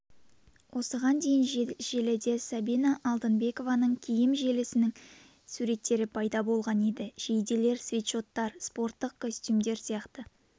осыған дейін желіде сабина алтынбекованың киім желісінің суреттері пайда болған еді жейделер свитшоттар спорттық костюмдер сияқты